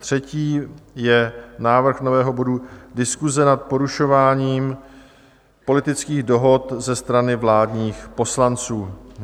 Třetí je návrh nového bodu - Diskuse nad porušováním politických dohod ze strany vládních poslanců.